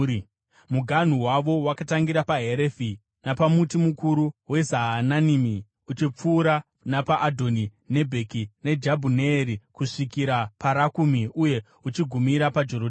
Muganhu wavo wakatangira paHerefi napamuti mukuru weZaananimi, uchipfuura napaAdhoni Nekebhi, neJabhuneeri, kusvikira paRakumi uye uchigumira paJorodhani.